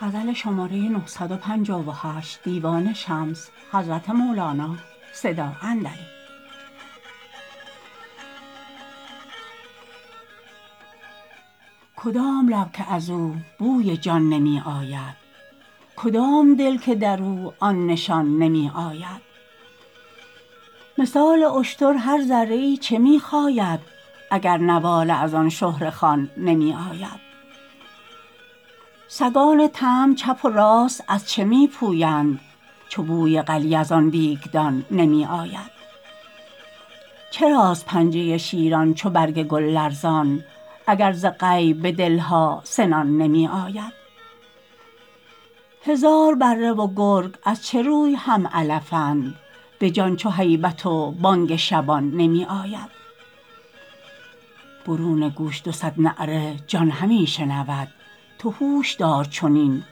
کدام لب که از او بوی جان نمی آید کدام دل که در او آن نشان نمی آید مثال اشتر هر ذره ای چه می خاید اگر نواله از آن شهره خوان نمی آید سگان طمع چپ و راست از چه می پویند چو بوی قلیه از آن دیگدان نمی آید چراست پنجه شیران چو برگ گل لرزان اگر ز غیب به دل ها سنان نمی آید هزار بره و گرگ از چه روی هم علفند به جان چو هیبت و بانگ شبان نمی آید برون گوش دو صد نعره جان همی شنود تو هوش دار چنین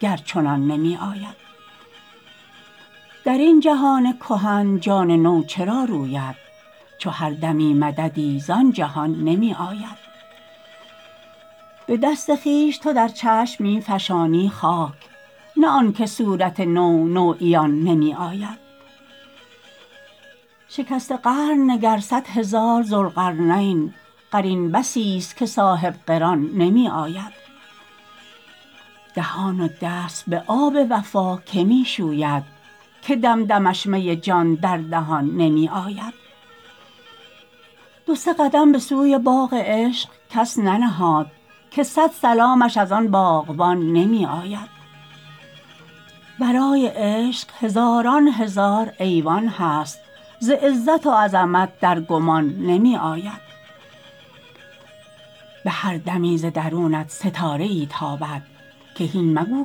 گر چنان نمی آید در این جهان کهن جان نو چرا روید چو هر دمی مددی زان جهان نمی آید به دست خویش تو در چشم می فشانی خاک نه آن که صورت نو نو عیان نمی آید شکسته قرن نگر صد هزار ذوالقرنین قرین بسیست که صاحب قران نمی آید دهان و دست به آب وفا کی می شوید که دم دمش می جان در دهان نمی آید دو سه قدم به سوی باغ عشق کس ننهاد که صد سلامش از آن باغبان نمی آید ورای عشق هزاران هزار ایوان هست ز عزت و عظمت در گمان نمی آید به هر دمی ز درونت ستاره ای تابد که هین مگو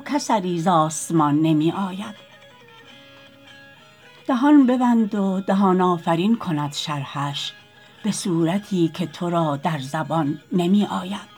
کاثری ز آسمان نمی آید دهان ببند و دهان آفرین کند شرحش به صورتی که تو را در زبان نمی آید